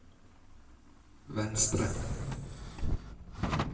venstre